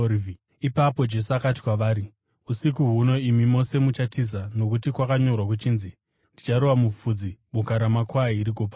Ipapo Jesu akati kwavari, “Usiku huno imi mose muchatiza nokuti kwakanyorwa kuchinzi: “ ‘Ndicharova mufudzi, boka ramakwai rigopararira.’